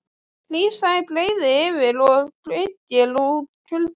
Hlý sæng breiðir yfir og byggir út kuldanum.